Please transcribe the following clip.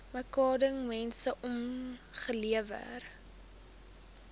merkwaardige mense opgelewer